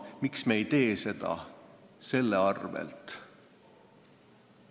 Miks me ei tee seda sellel alusel?